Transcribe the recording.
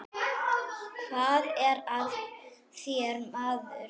Hvað er að þér maður?